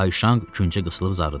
Kayşanq küncə qısılıb zarıdı.